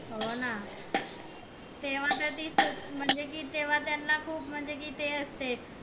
हो ना तेव्हा त ती म्हणजे कि तेव्हा त्यांना खूप म्हणजे कि ते असते